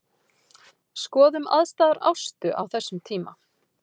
Skoðum aðstæður Ástu á þessum tíma.